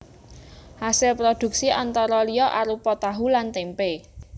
Asil prodhuksi antara liya arupa tahu lan témpé